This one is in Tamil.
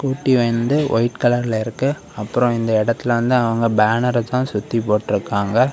கூட்டி வந்து வைட் கலர்ல இருக்க அப்ரோ இந்த இடத்துல வந்து அவங்க பேனர்தா சுத்தி போட்டுருக்காங்க.